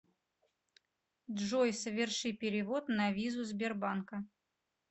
джой соверши перевод на визу сбербанка